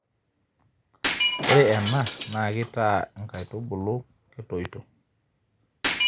ore ena naa keitaa inkaitubulu ketoito